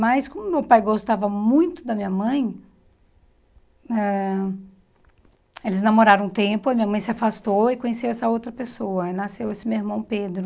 Mas como meu pai gostava muito da minha mãe, ãh eles namoraram um tempo, a minha mãe se afastou e conheceu essa outra pessoa, e nasceu esse meu irmão Pedro.